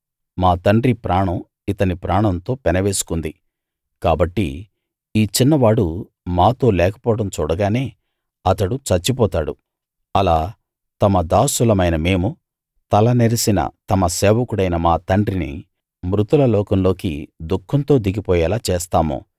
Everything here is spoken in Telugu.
మా తండ్రి ప్రాణం ఇతని ప్రాణంతో పెనవేసుకుంది కాబట్టి ఈ చిన్నవాడు మాతో లేకపోవడం చూడగానే అతడు చచ్చిపోతాడు అలా తమ దాసులమైన మేము తల నెరిసిన తమ సేవకుడైన మా తండ్రిని మృతుల లోకంలోకి దుఃఖంతో దిగిపోయేలా చేస్తాము